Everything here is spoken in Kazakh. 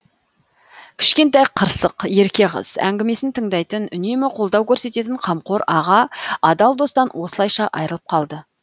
кішкентай қырсық ерке қыз әңгімесін тыңдайтын үнемі қолдау көрсететін қамқор аға адал достан осылайша айырылып қалды